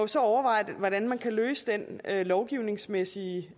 så overveje hvordan man kan løse den lovgivningsmæssige